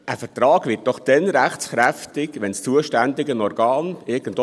Ein Vertrag wird doch dann rechtskräftig, wenn das zuständige Organ zustimmt.